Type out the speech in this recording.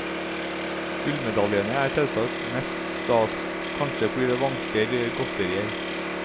Gullmedaljene er selvsagt mest stas, kanskje fordi det vanker godterier.